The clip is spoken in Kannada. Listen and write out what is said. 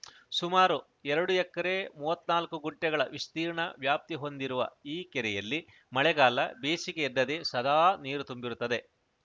ಸುಮಾರು ಎರಡು ಎಕರೆ ಮೂವತ್ತ್ನಾಲ್ಕು ಗುಂಟೆಗಳ ವಿಸ್ತೀರ್ಣ ವ್ಯಾಪ್ತಿಹೊಂದಿರುವ ಈ ಕೆರೆಯಲ್ಲಿ ಮಳೆಗಾಲ ಬೇಸಿಗೆ ಎನ್ನದೇ ಸದಾ ನೀರು ತುಂಬಿರುತ್ತದೆ